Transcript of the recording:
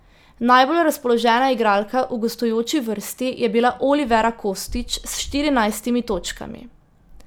Najbolj razpoložena igralka v gostujoči vrsti je bila Olivera Kostić s štirinajstimi točkami.